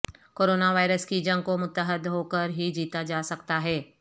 corona virus کی جنگ کو متحد ہو کر ہی جیتا جا سکتا ہے